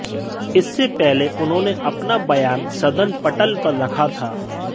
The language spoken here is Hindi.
इससे पहले उन्होंने अपना बयान सदन पटल पर रखा था